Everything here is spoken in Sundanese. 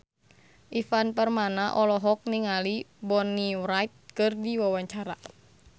Ivan Permana olohok ningali Bonnie Wright keur diwawancara